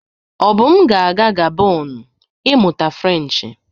Obum ga-aga Gabon ịmụta Frenchị.